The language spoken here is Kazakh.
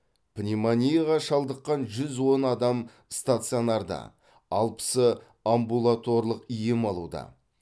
пневмонияға шалдыққан жүз он адам стационарда алпысы амбулаторлық ем алуда